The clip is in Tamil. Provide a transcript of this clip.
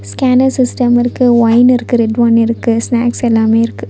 ஸ்கேனர் ஸிஸ்டம் இருக்கு வைன் இருக்கு ரெட் வைன் இருக்கு ஸ்நாக்ஸ் எல்லாமே இருக்கு.